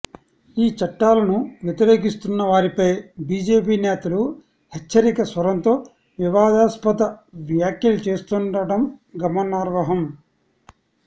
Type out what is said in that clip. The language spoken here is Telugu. ఈ చట్టాలను వ్యతిరేకిస్తున్నవారిపై బీజేపీ నేతలు హెచ్చరిక స్వరంతో వివాదాస్పద వ్యాఖ్యలు చేస్తుండటం గమనార్హం